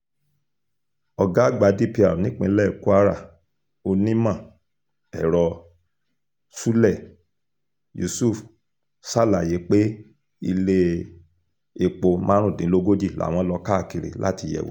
ọ̀gá àgbà dpr nípínlẹ̀ kwara onímọ̀-ẹ̀rọ ṣúlẹ̀ yusuf ṣàlàyé pé ilé-èpò márùndínlógójì làwọn lọ káàkiri láti yẹ̀ wò